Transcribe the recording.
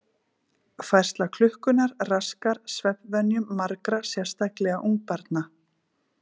Færsla klukkunnar raskar svefnvenjum margra, sérstaklega ungbarna.